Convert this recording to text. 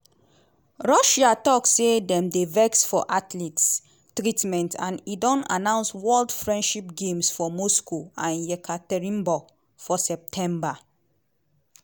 russia tok say dem dey "vex" for athletes treatment and e don announce "world friendship games" for moscow and yekaterinburg for september.